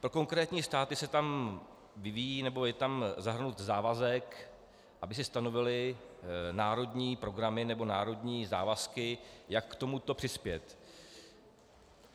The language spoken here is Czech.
Pro konkrétní státy se tam vyvíjí, nebo je tam zahrnut závazek, aby si stanovily národní programy nebo národní závazky, jak k tomuto přispět.